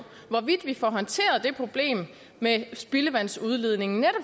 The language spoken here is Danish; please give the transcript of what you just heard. hvorvidt vi får håndteret det problem med spildevandsudledningen